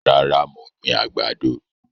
Rárá, mo gbìn àgbàdo